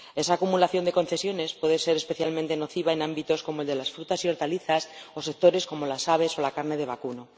Esa acumulación de concesiones puede ser especialmente nociva en ámbitos como el de las frutas y hortalizas o en sectores como las aves o la carne de vacuno.